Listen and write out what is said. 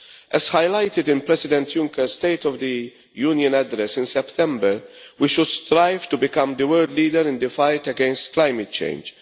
As highlighted in President Juncker's State of the Union address in September, we should strive to become the world leader in the fight against climate change.